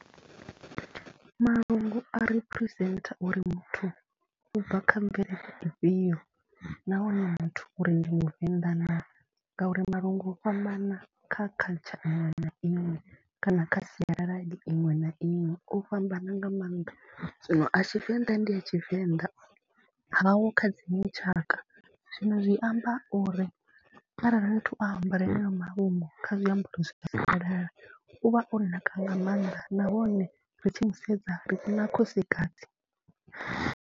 Malungu a representer uri muthu u bva kha mvelele ifhio nahone muthu uri ndi muvenḓa naa ngauri malungu u fhambana kha culture iṅwe na iṅwe kana kha sialala iṅwe na iṅwe, o fhambana nga maanḓa. Zwino a Tshivenḓa ndi a Tshivenḓa, haho kha dziṅwe tshaka, zwino zwi amba uri arali muthu o ambara haneyo malungu kha zwiambaro zwa sialala, u vha o naka nga maanḓa nahone ri tshi mu sedza ri vhona khosikadzi.